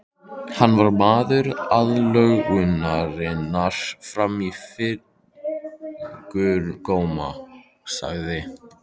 Hann var maður aðlögunarinnar fram í fingurgóma, sagði